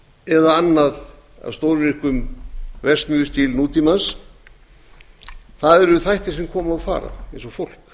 eða annað af stórvirkum verksmiðjustíl nútímans eru þættir sem koma og fara eins og fólk